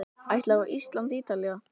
Ætlarðu á Ísland- Ítalía?